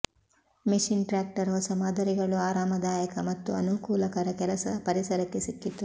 machine tractor ಹೊಸ ಮಾದರಿಗಳು ಆರಾಮದಾಯಕ ಮತ್ತು ಅನುಕೂಲಕರ ಕೆಲಸ ಪರಿಸರಕ್ಕೆ ಸಿಕ್ಕಿತು